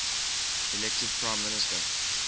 elected prime minister